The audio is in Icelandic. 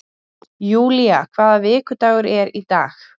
Julia, hvaða vikudagur er í dag?